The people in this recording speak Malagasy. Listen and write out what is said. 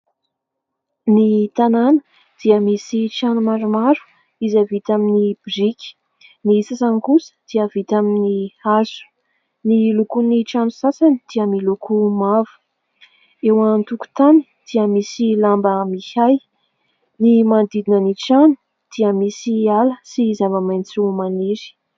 Ny tanàna dia misy trano maromaro izay vita amin'ny biriky, ny sasany kosa dia vita amin'ny hazo. Ny lokon'ny trano sasany dia miloko mavo. Eo antokontany dia misy lamba miahy. Ny manodidina ny trano dia misy ala sy zava-maintso maniry.